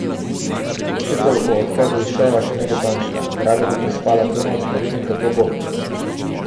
Odločitev o odhodu iz šova še ni dokončna: "Rada bi prespala to noč, da vidim, kako bo.